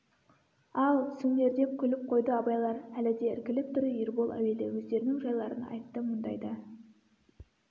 ал түсіңдер деп күліп қойды абайлар әлі де іркіліп тұр ербол әуелі өздерінің жайларын айтты мұндайда